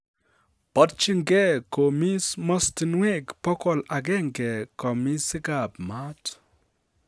Borjin gee komis mastinwek bogol agenge komisikab mat.